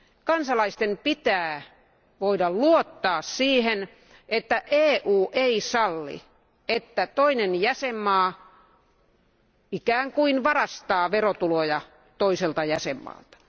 Kansalaisten pitää voida luottaa siihen, että EU ei salli toisen jäsenvaltion ikään kuin varastavan verotuloja toiselta jäsenvaltiolta.